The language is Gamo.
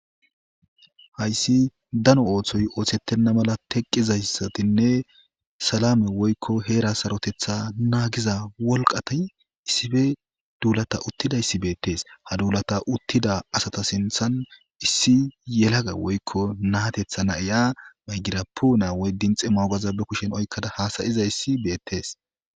hayssi dano ooththoy ooththettenna mala teqqizayssatinne salame woykko heera sarotetha naagiza wolqata issife duulata uttidayssi beettees ha duulata uttida asata sinthan issi yelaga woykko naatetha naiya maygirapu na woy din xe moogaza be kushen oykkada haasayizayssi beettees